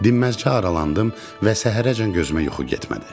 Dinməz qaralandım və səhərəcən gözümə yuxu getmədi.